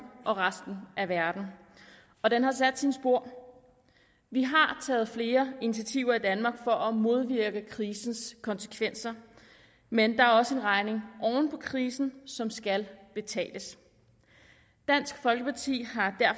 og resten af verden og den har sat sine spor vi har taget flere initiativer i danmark for at modvirke krisens konsekvenser men der er også en regning oven på krisen som skal betales dansk folkeparti